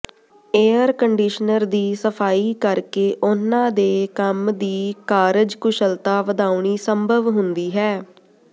air conditioner ਦੀ ਸਫ਼ਾਈ ਕਰਕੇ ਉਨ੍ਹਾਂ ਦੇ ਕੰਮ ਦੀ ਕਾਰਜਕੁਸ਼ਲਤਾ ਵਧਾਉਣੀ ਸੰਭਵ ਹੁੰਦੀ ਹੈ